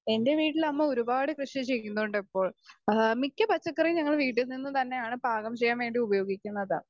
Speaker 2 എൻ്റെ വീട്ടിൽ അമ്മ ഒരുപാട് കൃഷി ചെയ്യുന്നുണ്ട് ഇപ്പോൾ.ആ മിക്ക പച്ചക്കറിയും ഇപ്പോൾ വീട്ടിൽനിന്നുതന്നെയാണ് പാകം ചെയ്യാൻവേണ്ടി ഉപയോഗിക്കുന്നത്.